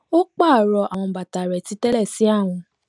ó pààrọ àwọn bàta rẹ titẹlẹ sí àwọn